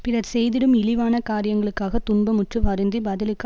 பிறர் செய்திடும் இழிவான காரியங்களுக்காகத் துன்பமுற்று வருந்தி பதிலுக்கு